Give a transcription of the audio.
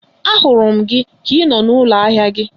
A hụrụ gị ka I nọ n'ụlọ ahịa gị